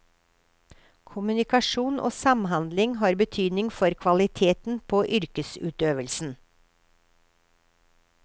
Kommunikasjon og samhandling har betydning for kvaliteten på yrkesutøvelsen.